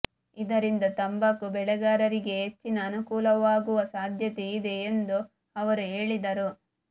ಇದರಿಂದ ತಂಬಾಕು ಬೆಳೆಗಾರರಿಗೆ ಹೆಚ್ಚಿನ ಅನುಕೂಲವಾಗುವ ಸಾಧ್ಯತೆ ಇದೆ ಎಂದು ಅವರು ಹೇಳಿದರು